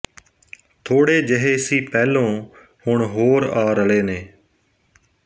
ਥੋੜੇ ਜਿਹੇ ਸੀ ਪਹਿਲੋਂ ਹੁਣ ਹੋਰ ਆ ਰਲੇ ਨੇ